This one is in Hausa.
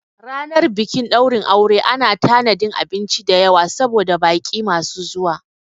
Ranar bikin ɗaurin aure ana tanadin abinci dayawa saboda baƙi masu zuwa